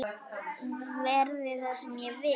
Verði það sem verða vill!